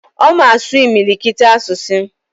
Oma asu imilikiti asusu